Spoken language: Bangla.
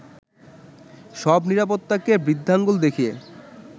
সব নিরাপত্তাকে বৃদ্ধাঙ্গুল দেখিয়ে